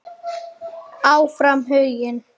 Áfram Huginn.